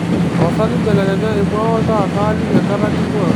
tapasali mbelekenya emua oltaa kaaliki enkata ning'ua